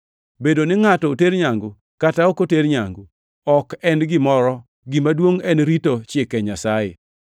Bedo ni ngʼato oter nyangu kata ok oter nyangu ok en gimoro. Gima duongʼ en rito Chike Nyasaye.